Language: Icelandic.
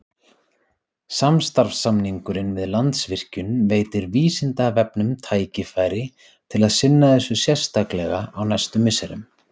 Samstarfssamningurinn við Landsvirkjun veitir Vísindavefnum tækifæri til að sinna þessu sérstaklega á næstu misserum.